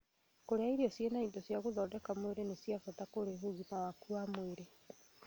Kũrĩa irio ciĩna indo cia gũthondeka mwĩrĩ nĩ gwa bata harĩ ũgima waku wa mwĩrĩ